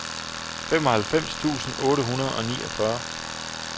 femoghalvfems tusind otte hundrede og niogfyrre